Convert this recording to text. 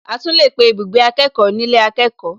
A tún lè pé ibùgbé akẹ́kọ̀ọ́ nílé akẹ́kọ̀ọ́